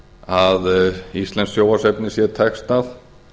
að íslenskt sjónvarpsefni sé textað